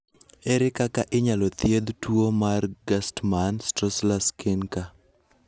Ere kaka inyalo thiedh tuwo mar Gerstmann Straussler Scheinker?